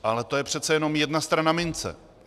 Ale to je přece jenom jedna strana mince.